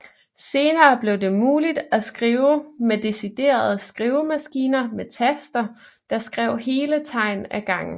Senere blev det muligt at skrive med deciderede skrivemaskiner med taster der skrev hele tegn af gangen